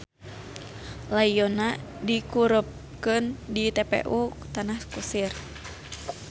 Layonna dikurebkeun di TPU Tanah Kusir.